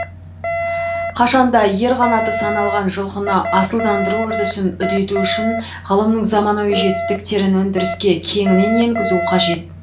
қашан да ер қанаты саналған жылқыны асылдандыру үрдісін үдету үшін ғылымның заманауи жетістіктерін өндіріске кеңінен енгізу қажет